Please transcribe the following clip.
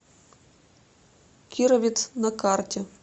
кировец на карте